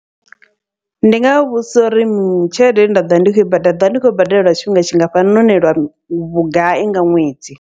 Ndi ngavha vhudzisa uri tshelede ine nda ḓovha ndi khou i badela, ndi ḓovha ndi khou i badela lwa tshifhinga tshingafhani nahone lwa vhugai nga ṅwedzi.